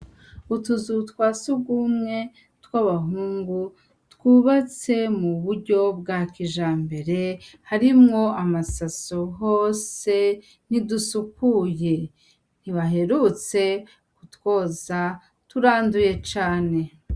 Utuzu twasugumwe tw' abahungu, twubatse mu buryo bwakijambere, harimw' amasaso hose, ntidusukuye, ntibaherutse kutwoza turacafuye cane.